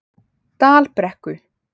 Dalbrekku